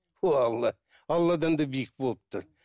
о алла ай алладан да биік болып тұр